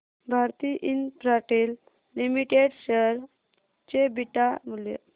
Bharti Infratel limited share चे beta मूल्य